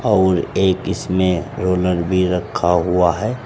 और एक इसमें रोलर भी रखा हुआ है।